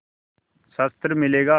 शस्त्र मिलेगा